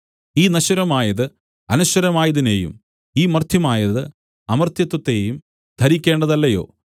ഈ നശ്വരമായത് അനശ്വരമായതിനെയും ഈ മർത്യമായത് അമർത്യത്വത്തെയും ധരിക്കേണ്ടതല്ലയോ